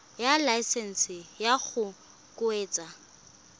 ya laesesnse ya go kgweetsa